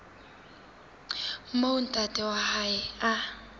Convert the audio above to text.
moo ntate wa hae a